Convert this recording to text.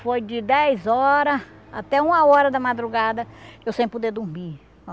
Foi de dez horas até uma hora da madrugada, eu sem poder dormir.